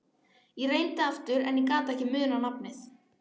Ég reyndi aftur en ég gat ekki munað nafnið.